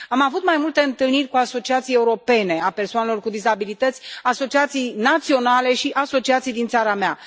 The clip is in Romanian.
Am avut mai multe întâlniri cu asociații europene ale persoanelor cu dizabilități, asociații naționale și asociații din țara mea.